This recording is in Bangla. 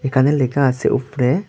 এখানে লেখা আছে উপরে।